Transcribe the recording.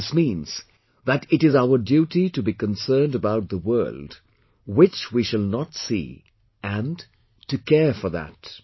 This means that it is our duty to be concerned about the world which we shall not see and to care for that